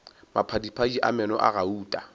maphadiphadi a meno a gauta